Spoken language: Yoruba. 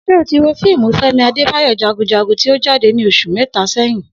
S̩e o ti wo fíìmù Fé̩mi Adébáyò̩ Jagunjagun tí ó jáde ní os̩ù mé̩ta sé̩yìn?